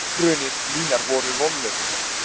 Tilraunir mínar voru vonlausar.